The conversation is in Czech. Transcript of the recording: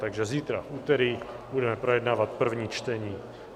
Takže v úterý budeme projednávat první čtení.